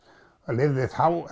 lifði þá